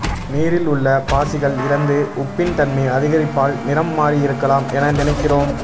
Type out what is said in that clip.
நீரில் உள்ள பாசிகள் இறந்து உப்பின் தன்மை அதிகரிப்பால் நிறம் மாறியிருக்கலாம் என நினைக்கிறோம்